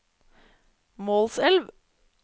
Målselv